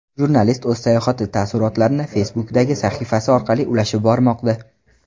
Jurnalist o‘z sayohati taassurotlarini Facebook’dagi sahifasi orqali ulashib bormoqda.